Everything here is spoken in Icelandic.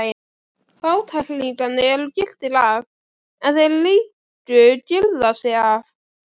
Fátæklingarnir eru girtir af en þeir ríku girða sig af.